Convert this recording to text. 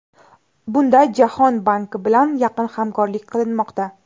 Bunda Jahon banki bilan yaqin hamkorlik qilinmoqda.